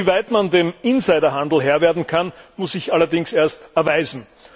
Inwieweit man dem Insiderhandel Herr werden kann, muss sich allerdings erst erweisen.